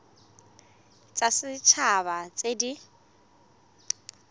tsa set haba tse di